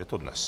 Je to dnes.